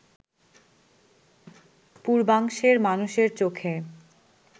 পূর্বাংশের মানুষের চোখে